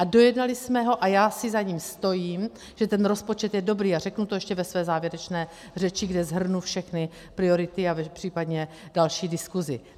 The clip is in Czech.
A dojednali jsme ho a já si za ním stojím, že ten rozpočet je dobrý, a řeknu to ještě ve své závěrečné řeči, kde shrnu všechny priority a případně další diskuzi.